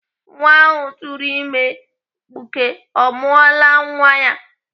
Nwa ahụ tụrụ ime mkpuke ọ mụọla nwa ya?